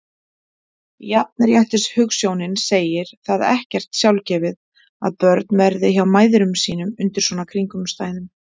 Jafnréttishugsjónin segir það ekkert sjálfgefið að börn verði hjá mæðrum sínum undir svona kringumstæðum.